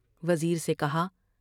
وزیر سے کہا ۔